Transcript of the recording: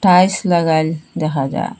Tiles লাগাইল দেখা যার ।